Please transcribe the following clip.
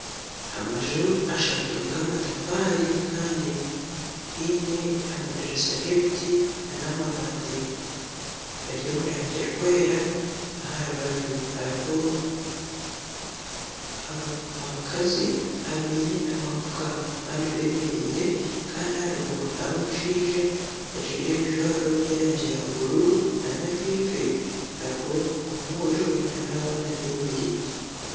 Amaju ashatu g'amatafaari kandi gaine amadiriisa g'ebiti nana amabaati gari omu rangi erikwera aha rubaju hariho abakazi abaine amafuka abandi bemereire kandi aha ruguru hariho omushaija ajwaire ebijwaro by'erangi ya buruuru nana ahaifo hariho mwojo na n'abaana bemereire.